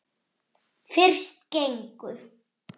Fyrst gengu